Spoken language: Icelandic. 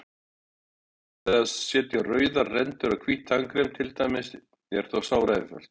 Aðferðin við að setja rauðar rendur í hvítt tannkrem, til dæmis, er þó sáraeinföld.